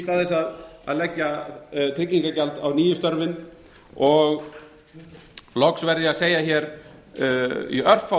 stað þess að leggja tryggingagjald á nýju störfin loks verð ég að segja hér í örfáum